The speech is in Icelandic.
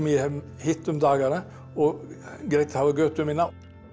hef hitt um dagana og greitt hafa götu mína